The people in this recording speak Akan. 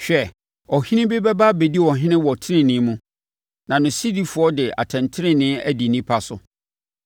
Hwɛ, ɔhene bi bɛba abɛdi ɔhene wɔ tenenee mu na sodifoɔ de atɛntenenee adi nnipa so.